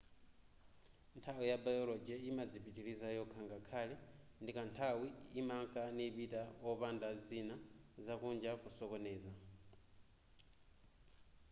nthawi ya biology yimadzipitiliza yokha ngakhale ndikanthawi imanka nipita wopanda zina zakunja kusokoneza